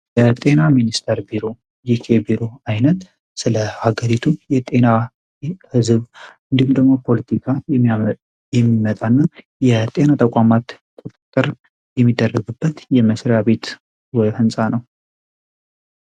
የጤና ሚኒስቴር ቢሮ ሚኒስቴር ቢሮ አይነት ስለ ሀገሪቱ የጤና ፖለቲካ ተቋማት ቁጥጥር የሚደረግበት ቦታ ነው።